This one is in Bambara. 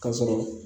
K'a sɔrɔ